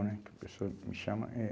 Né, que a pessoa me chama. Eh